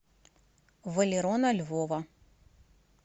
валерона львова